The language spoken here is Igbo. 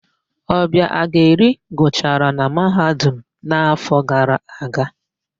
Ọbịageli gụchara na Mahadum n'áfọ̀ gara aga.